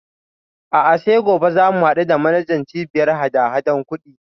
A'a sai gobe za mu haɗu da manajan Cibiyar hadahadan kuɗin.